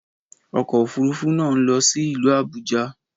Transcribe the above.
Ọkọ̀ òfúrufú náà ń lọ sí ìlú Àbújá